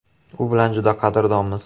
U bilan juda qadrdonmiz.